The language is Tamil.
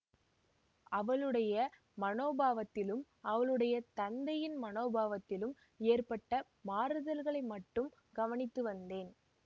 அவளுடைய மனோபாவத்திலும் அவளுடைய தந்தையின் மனோபாவத்திலும் ஏற்பட்ட மாறுதல்களை மட்டும் கவனித்து வந்தேன்